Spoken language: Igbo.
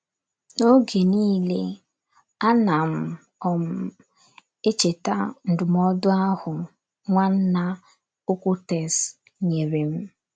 N’oge niile, anam um -- echeta ndụmọdụ ahụ Nwanna Okwutes nyere m.